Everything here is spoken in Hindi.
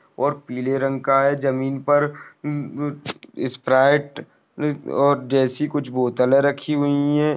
और पीले रंग का है जमीन पर स्प्राइट और जैसी कुछ बोतले रखी हुई है।